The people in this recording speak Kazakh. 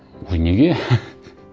ой неге